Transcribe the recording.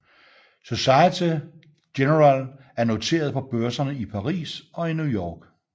Société Générale er noteret på børserne i Paris og i New York